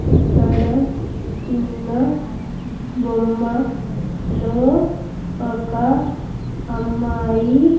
ఇక్కడ ఉన్న బొమ్మ లో ఒక అమ్మాయి.